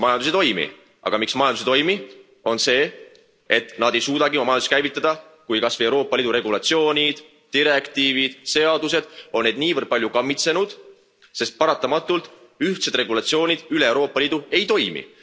Sest majandus ei toimi, aga miks majandus ei toimi, on see, et nad ei suudagi oma majandust käivitada, kui Euroopa Liidu regulatsioonid, direktiivid, seadused on neid niivõrd palju kammitsenud, sest paratamatult ühtsed regulatsioonid üle Euroopa Liidu ei toimi.